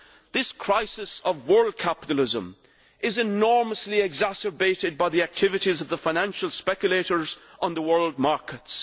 This crisis of world capitalism is enormously exacerbated by the activities of the financial speculators on the world markets.